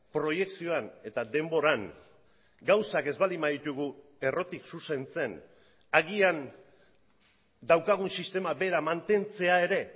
proiekzioan eta denboran gauzak ez baldin baditugu errotik zuzentzen agian daukagun sistema bera mantentzea ere